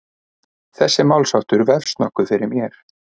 Þessi málsháttur vefst nokkuð fyrir mér.